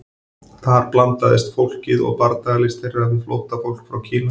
Þar blandaðist fólkið og bardagalist þeirra við flóttafólk frá Kína.